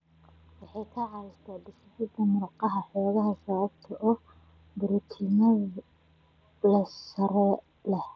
Waxay ka caawisaa dhisidda murqaha xooggan sababtoo ah borotiinno tayo sare leh.